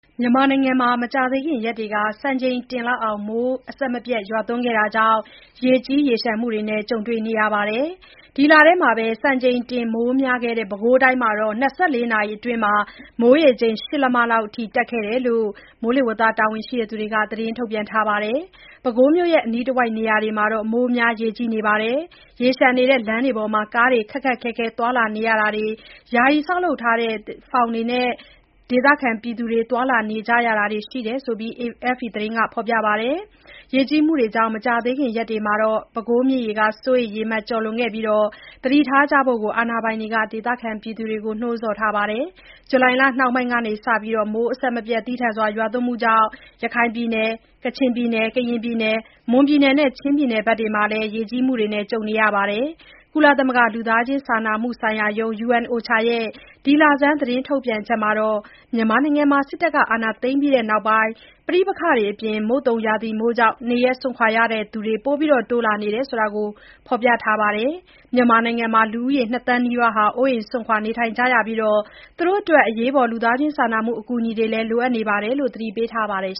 မြန်မာနိုင်ငံမှာ မကြာသေးခင်ရက်တွေက စံချိန်တင်မိုးရွာသွန်းခဲ့တာကြောင့် ရေကြီးမှုတွေနဲ့ ကြုံနေရပါတယ်။ ဒီလထဲ စံချိန်တင်မိုးများခဲ့တဲ့ ပဲခူးတိုင်းမှာ ၂၄ နာရီအတွင်း မိုးရေချိန် ၈ လက်မလောက်အထိ ရှိခဲ့တယ်လို့လည်း တာဝန်ရှိသူတွေက သတင်းထုတ်ပြန်ခဲ့တာပါ။ ပဲခူးမြို့နဲ့ အနီးတဝိုက်နေရာတွေမှာ မိုးများရေကြီးနေပြီး ရေလျှံနေတဲ့ လမ်းတွေပေါ်မှာ ကားတွေ ခက်ခက်ခဲခဲ သွားလာနေရတာတွေ၊ ယာယီဆောက်လုပ်ထားတဲ့ ဖောင်တွေနဲ့ ဒေသခံတွေ သွားလာနေရတာတွေရှိတယ်လို့ AFP သတင်းက ဖော်ပြပါတယ်။ ရေကြီးမှုတွေကြောင့် မကြာခင်ရက်တွေမှာ ပဲခူးမြစ်ရေ စိုးရိမ်ရေမှတ် ကျော်လွန်နိုင်ပြီး သတိထားကြဖို့လည်း အာဏာပိုင်တွေက ဒေသခံတွေကို နှိုးဆော်ထားပါတယ်။ ဇူလိုင်လနှောင်းပိုင်းကစ မိုးသည်းထန်စွာ ရွာသွန်းမှုတွေကြောင့် ရခိုင်၊ ကချင်၊ ကရင်၊ မွန်နဲ့ ချင်းပြည်နယ်တွေမှာ ရေကြီးမှုတွေ ကြုံခဲ့ရတာပါ။ ကုလသမဂ္ဂ လူသားချင်းစာနာမှုဆိုင်ရာရုံး (UNOCHA) ရဲ့ ဒီလဆန်း သတင်းထုတ်ပြန်ချက်မှာတော့ မြန်မာနိုင်ငံမှာ စစ်အာဏာသိမ်းပြီးနောက်ပိုင်း ပဋိပက္ခတွေနဲ့ မုတ်သုန်ရာသီမိုးကြောင့် နေရပ်စွန့်ခွာရသူတွေ တိုးလာနေကြောင်း ဖော်ပြထားပါတယ်။ မြန်မာနိုင်ငံမှာ လူ ၂ သန်းနီးပါး အိုးအိမ်စွန့်ခွာနေထိုင်နေကြရပြီး၊ အရေးပေါ် အကူအညီတွေလိုအပ်နေတယ်လို့ သတိပေးထားပါတယ်